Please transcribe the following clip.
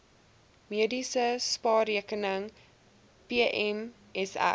mediese spaarrekening pmsr